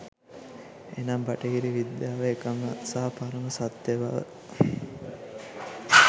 එනම් බටහිර විද්‍යාව එකම සහ පරම සත්‍යබව